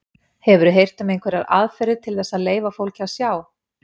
Hefurðu heyrt um einhverjar aðferðir til þess að leyfa fólki að sjá?